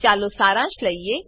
ચાલો સારાંશ લઈએ